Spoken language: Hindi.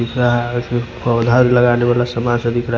पौधा लगाने वाला सामान सब दिख रहा हैं।